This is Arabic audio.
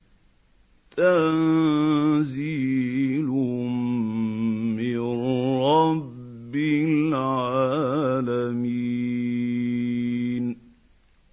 تَنزِيلٌ مِّن رَّبِّ الْعَالَمِينَ